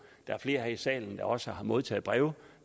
der er flere her i salen der også har modtaget breve